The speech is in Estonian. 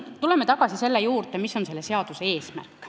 Tuleme tagasi selle juurde, mis on selle seaduse eesmärk.